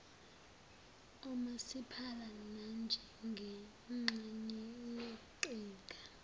omasipala nanjengengxenye yeqhinga